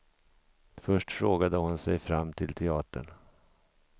Först frågade hon sig fram till teatern.